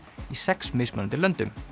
í sex mismunandi löndum